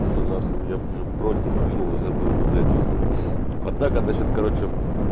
уже нахуй я уже бросил плюнул и забыл бы в эту игру а так она сейчас короче